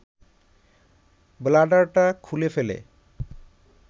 ব্লাডারটা খুলে ফেলে